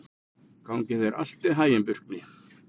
Gangi þér allt í haginn, Burkni.